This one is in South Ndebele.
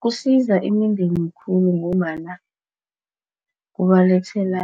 Kusiza imindeni khulu ngombana kubalethela